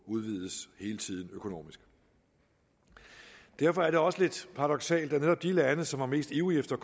udvides økonomisk derfor er det også lidt paradoksalt at netop i de lande som var mest ivrige efter